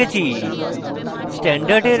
এখানে শিখেছি